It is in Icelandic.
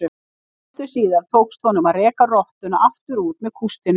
Stuttu síðar tókst honum að reka rottuna aftur út með kústinum.